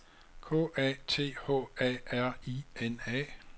K A T H A R I N A